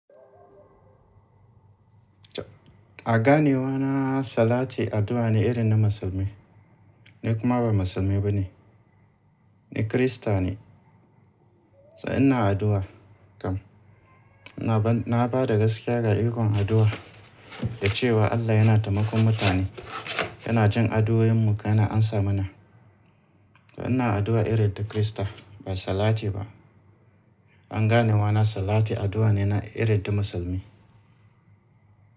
A ganewana, salati addu'a ne irin na musulmi. Ni kuma ba musulmi ba ne, ni Kirista ne. Toh inna addu'a kam. Na ba da gaskiya ga ikon addu'a da cewa Allah yana taimakon mutane, yana jin addu'oyinmu, yana amsa mana. Toh inna addu'a irin ta Kirista ba salati ba. An ganewa na salati addu'a ne na irin na musulmi.